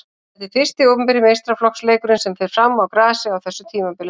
Þetta er fyrsti opinberi meistaraflokksleikurinn sem fer fram á grasi á þessu tímabili.